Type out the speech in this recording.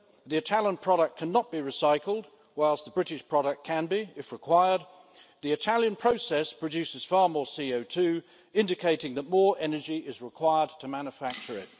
The Italian product cannot be recycled, whilst the British product can be, if required. The Italian process produces far more CO2, indicating that more energy is required to manufacture it.